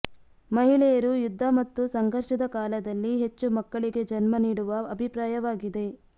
ಮಹಿಳೆಯರು ಯುದ್ಧ ಮತ್ತು ಸಂಘರ್ಷದ ಕಾಲದಲ್ಲಿ ಹೆಚ್ಚು ಮಕ್ಕಳಿಗೆ ಜನ್ಮ ನೀಡುವ ಅಭಿಪ್ರಾಯವಾಗಿದೆ